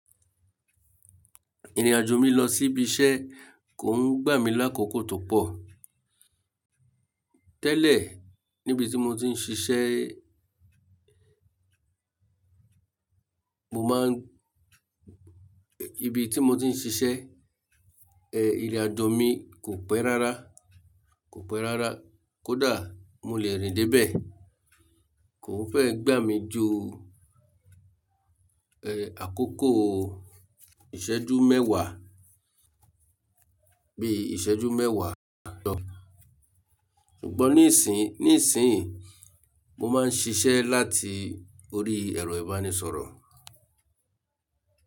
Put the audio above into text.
Ìrìnàjò mi lọ sí ibi iṣẹ́ kò ń gbà mí lákòókò tó pọ̀. Tẹ́lẹ̀ níbi tí mo ti ń ṣiṣẹ́, mo máa ń, ibi tí mo ti ń ṣiṣẹ́, ìrìnàjò mi kò pẹ́ rárá, kò pẹ́ rárá. Kódà mo le rìn dé bẹ̀, kò ń fẹ́ gbà mí ju, àkókò ìṣẹ́jú mẹ́wàá, bí i ìṣẹ́jú mẹ́wàá ló. Ṣùgbọ́n níìsín, níìsín mo máa ń ṣiṣẹ́ láti orí ẹ̀rọ ìbánisọ̀rọ̀.